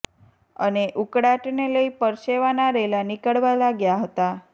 અને ઉકળાટ ને લઇ પરસેવાના રેલા નીકળવા લાગ્યા હતા